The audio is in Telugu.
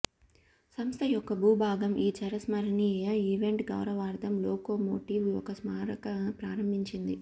సంస్థ యొక్క భూభాగం ఈ చిరస్మరణీయ ఈవెంట్ గౌరవార్ధం లోకోమోటివ్ ఒక స్మారక ప్రారంభించింది